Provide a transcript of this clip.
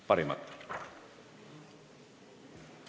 Parimat!